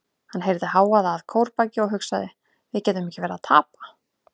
Hann heyrði hávaða að kórbaki og hugsaði: við getum ekki verið að tapa.